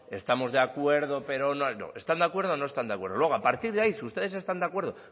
estamos de acuerdo pero no no están de acuerdo o no están de acuerdo luego a partir de ahí si ustedes están de acuerdo